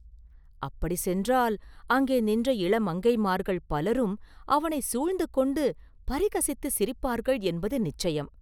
அப்படி சென்றால் அங்கே நின்ற இளமங்கைமார்கள் பலரும் அவனை சூழ்ந்து கொண்டு பரிகசித்துச் சிரிப்பார்கள் என்பது நிச்சயம்.